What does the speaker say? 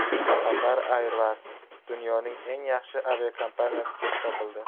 Qatar Airways dunyoning eng yaxshi aviakompaniyasi deb topildi.